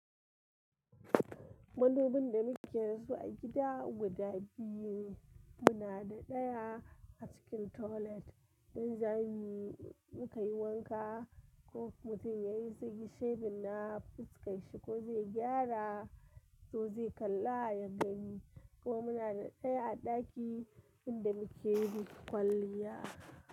Madubin da muke so a gida guda biyu suna da daya a cikin toilet. Dan jami'in muka yi wanka ko mutum ya yi ze yi shebin na fuskan shi ko zai gyara ko zai kalla a ya gani ko muna da daya a daki inda muke yin kwalliya.